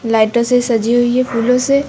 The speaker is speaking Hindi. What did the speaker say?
लाइटों से सजी हुई है। फूलों से --